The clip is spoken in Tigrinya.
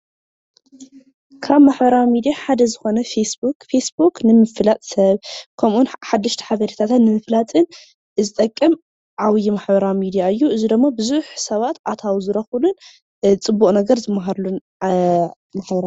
ካብ ማህበራዊ ሚድያ ሓደ ዝኮነ ፌስቡክ ፌስቡክ ንምፍላጥ ሰብ ከምኡውን ሓደሽቲ ሓበሬታታት ንምፍላጥን ዝጠቅም ዓብይ ማሕበራዊ ሚድያ እዩ፡፡ እዚ ድማ ብዙሕ ሰባት ኣታዊ ዝረክብሉን ፅቡቅ ነገር ዝመሃሩሉን ማሕበራዊ፡፡